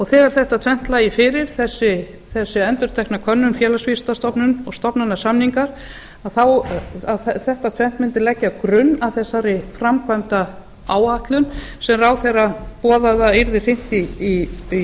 þegar þetta tvennt lægi fyrir þessi endurtekna könnun félagsvísindastofnunar og stofnanasamningar þetta tvennt mundi leggja grunn að þessari framkvæmdaáætlun sem ráðherra boðaði að yrði hrint í